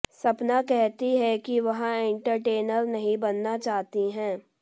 सपना कहती है कि वह एंटरटेनर नहीं बनना चाहती है